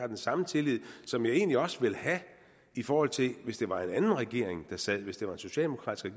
den samme tillid som jeg egentlig også ville have i forhold til hvis det var en anden regering der sad hvis det var en socialdemokratisk